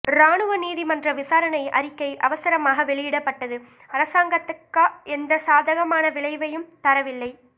இராணுவ நீதிமன்ற விசாரணை அறிக்கை அவசரமாக வெளியிடப்பட்டது அரசாங்கத்துக்க எந்த சாதகமான விளைவையும் தரவில்லை